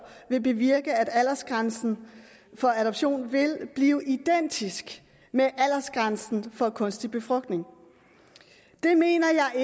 vil bevirke at aldersgrænsen for adoption vil blive identisk med aldersgrænsen for kunstig befrugtning det mener